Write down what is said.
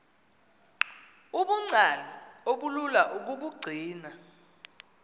ubungcali obulula ukubugcina